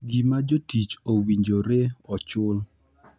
gima jotich owinjore ochul,